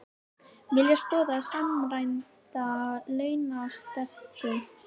Vilja skoða samræmda launastefnu